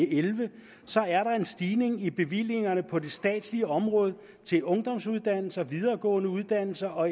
elleve er en stigning i bevillingerne på det statslige område til ungdomsuddannelser videregående uddannelser og